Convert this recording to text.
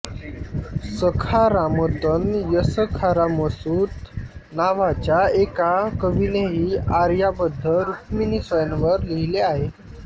सखारामतनयसखारामसुत नावाच्या एका कवीनेही आर्याबद्ध रुक्मिणीस्वयंवर लिहिले आहे